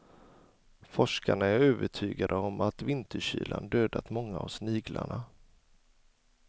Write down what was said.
Forskarna är övertygade om att vinterkylan dödat många av sniglarna.